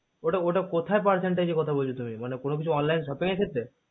ওটা ওটা কোথায় percent এর কথা বলছো তুমি মানে কোনো কিছু online shopping এর খেত্রে